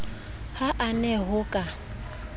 ha a na ho ka